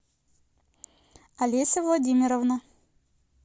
олеся владимировна